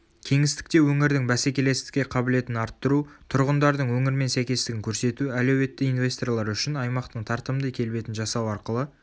кеңістікте өңірдің бәсекелестікке қабілетін арттыру тұрғындардың өңірмен сәйкестігін көрсету әлеуетті инвесторлар үшін аймақтың тартымды келбетін жасау арқылы